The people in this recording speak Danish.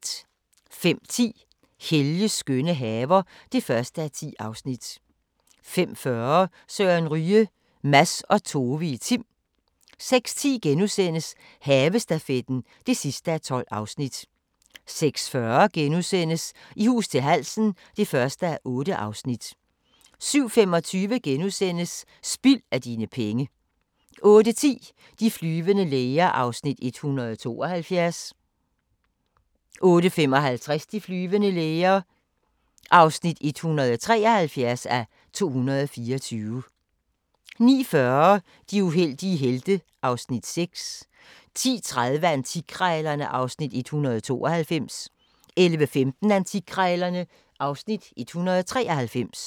05:10: Helges skønne haver (1:10) 05:40: Søren Ryge – Mads og Tove i Tim 06:10: Havestafetten (12:12)* 06:40: I hus til halsen (1:8)* 07:25: Spild af dine penge * 08:10: De flyvende læger (172:224) 08:55: De flyvende læger (173:224) 09:40: De uheldige helte (Afs. 6) 10:30: Antikkrejlerne (Afs. 192) 11:15: Antikkrejlerne (Afs. 193)